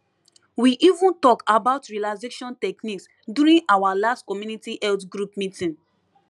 we even talk about relaxation techniques during our last community health group meeting